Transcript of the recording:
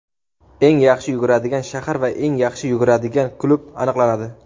eng yaxshi yuguradigan shahar va eng yaxshi yuguradigan klub aniqlanadi.